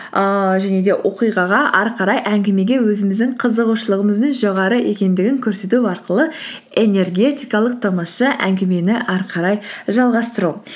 ііі және де оқиғаға әрі қарай әңгімеге өзіміздің қызығушылығымыздың жоғары екендігін көрсету арқылы энергетикалық тамаша әңгімені әрі қарай жалғастыру